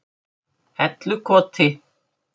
Hellukoti